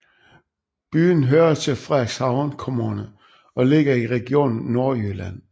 Byen hører til Frederikshavn Kommune og ligger i Region Nordjylland